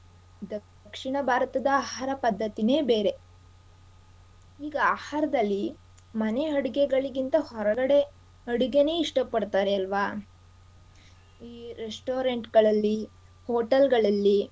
ದಕ್ಷಿಣ ಭಾರತದ ಆಹಾರ ಪದ್ಧತಿನೇ ಬೇರೆ ಈಗ ಆಹಾರದಲ್ಲಿ ಮನೆ ಅಡಿಗೆಗಳಿಗಿಂತ ಹೊರಗಡೆ ಅಡುಗೇನೇ ಇಷ್ಟ ಪಡ್ತಾರೆ ಅಲ್ವಾ ಈ restaurant ಗಳಲ್ಲಿ hotel ಗಳಲ್ಲಿ.